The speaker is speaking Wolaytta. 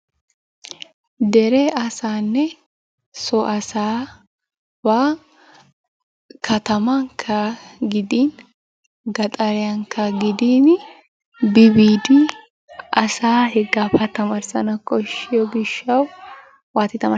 Dere asaanne so asabba kattamanikka gidinii gaxariyanikka gidiin bi biidi asaa heggaaba tamarissanawu koshshiyoo gishshawu waati tamaarisanaakko.